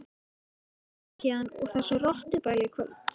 Ég ætla að flytja héðan úr þessu rottubæli í kvöld.